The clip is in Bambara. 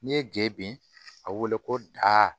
N'i ye ge a wele ko